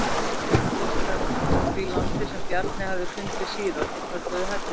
Þeir komu fyrst að því landi sem Bjarni hafði fundið síðast og kölluðu það Helluland.